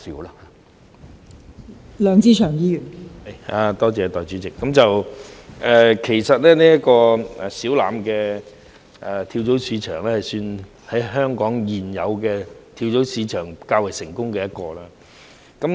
代理主席，其實小欖跳蚤市場算是香港現有的跳蚤市場中較為成功的一個。